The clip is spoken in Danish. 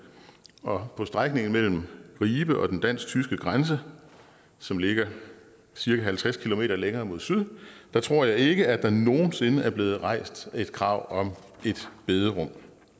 og på strækningen mellem ribe og den dansk tyske grænse som ligger cirka halvtreds km længere mod syd tror jeg ikke der nogen sinde er blevet rejst et krav om et bederum